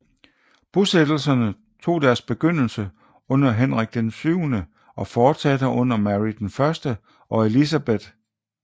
Bosættelserne tog deres begyndelse under Henrik VIII og fortsatte under Mary I og Elizabeth